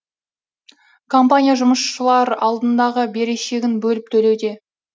компания жұмысшылар алдындағы берешегін бөліп төлеуде